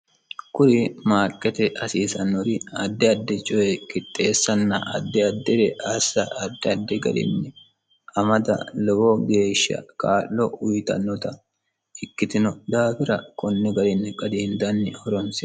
Kuri maaqqete hasiisanori addi addi coye qixxeesanna addi addire assa addi addi garinni amada lowo geeshsha kaa'lo uuyiitanota ikkitino daafira konni garinni qadiindanni horoonsi'no.